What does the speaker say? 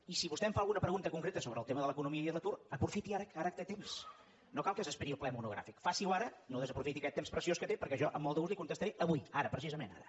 i si vostè em fa alguna pregunta concreta sobre el tema de l’economia i l’atur aprofiti ara que ara té temps no cal que s’esperi al ple monogràfic faci ho ara no desaprofiti aquest temps preciós que té perquè jo amb molt de gust li contestaré avui ara precisament ara